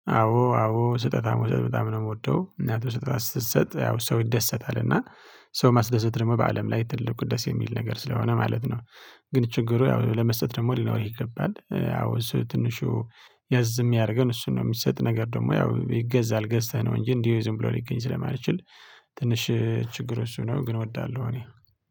አዎ አዎ ስጦታ መስጠት በጣም ነው የምወደው ምክንያቱም ስጦታ ስትሰጥ ያው ሰው ይደሰታል እና ሰው ማስደሰት ደግሞ በአለም ላይ ትልቅ ቅዱስ የሚል ነገር ስለሆነ ማለት ነው። ግን ችግሩ ያው ለመሰለህ ደግሞ ሊኖርህ ይገባል ያው እሱ ትንሹ ያዝ የሚያደርገን እሱን ነው የሚሰጥ ነገር ደግሞ ያው ይገዛል ገዝተህ ነው እንጂ እንዲህ ዝም ብሎ ሊገኝ ስለማልችል። ትንሽ ችግር እሱ ነው ግን እወዳለሁ እኔ